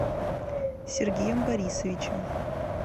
сергеем борисовичем